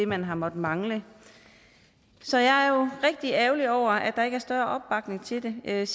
man har måttet mangle så jeg er rigtig ærgerlig over at der ikke er større opbakning til det jeg